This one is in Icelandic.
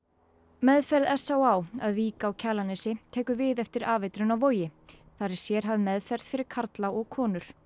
meðferð s á á að Vík á Kjalarnesi tekur við eftir afeitrun á Vogi þar er sérhæfð meðferð fyrir karla og konur